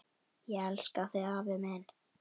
Ég elska þig afi minn.